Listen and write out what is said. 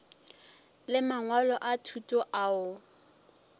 le mangwalo a thuto ao